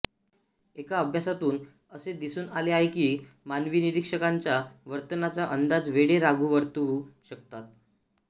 एका अभ्यासातून असे दिसून आले आहे की मानवी निरीक्षकांच्या वर्तनाचा अंदाज वेडे राघू वर्तवू शकतात